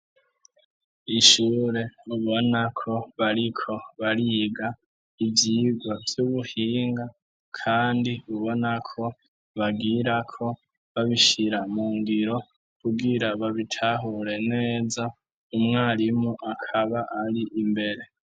Ishure mubona ko bariko bariga ivyigwa vy'ubuhinga kandi ubonako bagirako babishira mu ngiro, kugira babitahure neza, umwarimu akaba ari imbere.